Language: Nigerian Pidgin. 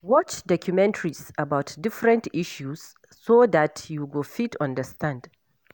Watch documentaries about different issues so dat you go fit understand